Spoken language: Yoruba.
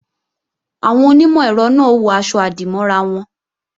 Àwọn onímọ̀-ẹ̀rọ náà ó wọ aṣọ-àdìmọ́ra wọn